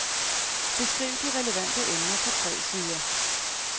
Beskriv de relevante emner på tre sider.